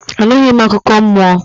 Anughi m akụkọ mmụọ